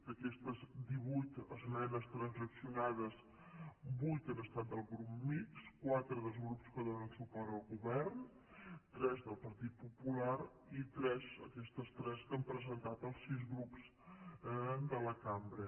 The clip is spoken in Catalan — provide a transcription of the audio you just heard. d’aquestes divuit esmenes transaccionades vuit han estat del grup mixt quatre dels grups que donen suport al govern tres del partit popular i tres aquestes tres que han presentat els sis grups de la cambra